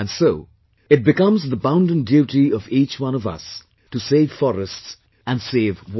And so, it becomes the bounden duty of each one of us, to save forests and save water